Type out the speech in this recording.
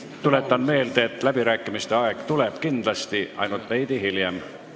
Tuletan meelde, et läbirääkimiste aeg tuleb kindlasti, ainult veidi hiljem.